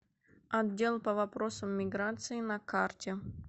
отдел по вопросам миграции на карте